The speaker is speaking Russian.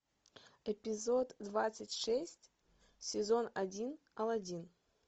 эпизод двадцать шесть сезон один алладин